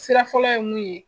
Sira fɔlɔ ye mun ye